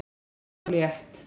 Þunn og létt